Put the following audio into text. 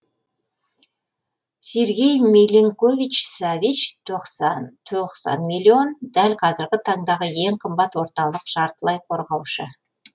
сергей милинкович савич тоқсан тоқсан миллион дәл қазіргі таңдағы ең қымбат орталық жартылай қорғаушы